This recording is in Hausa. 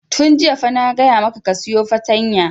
Tun jiya fa na gaya maka ka sayo fartanya!